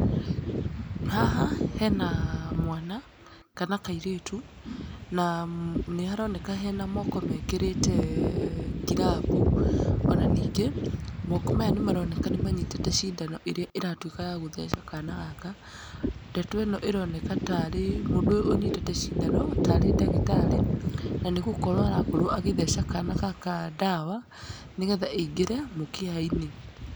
Haha hena mwana, kana kairĩtu, na nĩ haroneka hena moko mekĩrĩte ngirabu, ona ningĩ, moko maya nĩ maroneka nĩ manyitĩte cindano ĩrĩa ĩratuĩka ya gũtheca kana gaka, ndeto ĩno ĩroneka tarĩ mũndũ ũyũ ũnyitĩte cindano tarĩ ndagĩtarĩ, na nĩ gũkorwo arakorwo agĩtheca kana gaka ndawa, nĩgetha ĩingĩre mũkiha-inĩ.